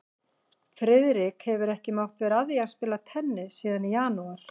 Friðrik hefur ekki mátt vera að því að spila tennis síðan í janúar